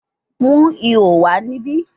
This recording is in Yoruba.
Mu iho wa nibi